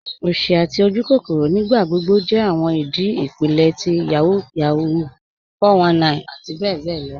Osì àti ojúkòkòrò nígbàgbọ̀gbọ̀ jẹ́ awọn ìdí ipílẹ̀ ti Yahoo Yahoo, 419 àti bẹ̀bẹ̀ lọ.